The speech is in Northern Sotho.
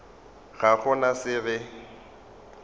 ga go na se re